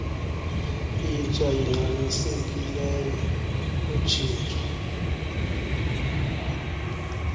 intsha ingxamisekileyo lutshintsho